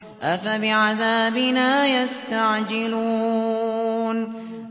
أَفَبِعَذَابِنَا يَسْتَعْجِلُونَ